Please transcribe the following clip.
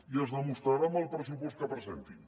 i es demostrarà amb el pressupost que presentin